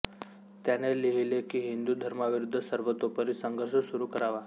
त्याने लिहिले की हिंदू धर्माविरूद्ध सर्वतोपरी संघर्ष सुरू करावा